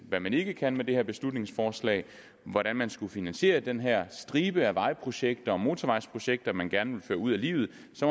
hvad man ikke kan med det her beslutningsforslag hvordan man skulle finansiere den her stribe af vejprojekter og motorvejsprojekter man gerne vil føre ud i livet